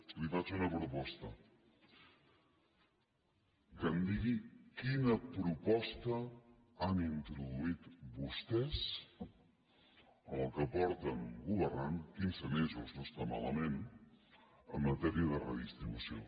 li faig una proposta que em digui quina proposta han introduït vostès en el que fa que governen quinze mesos no està malament en matèria de redistribució